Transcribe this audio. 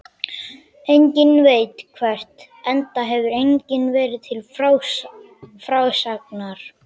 Enginn veit hvert, enda hefur enginn verið til frásagnar.